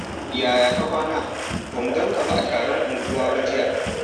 Yaya ka kwana? Ba mu ganka a taron unguwa ba jiya.